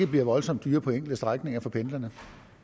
blive voldsomt dyrere på enkelte strækninger for pendlerne